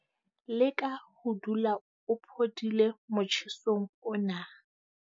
Leka ho dula o phodile motjhesong ona.